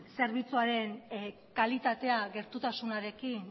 zerbitzuaren kalitatea gertutasunarekin